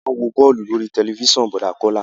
A má ń wo bọ́ọ̀lù lórí tẹ̀lifísàn Bọ̀dá Kọ́lá